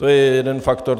To je jeden faktor.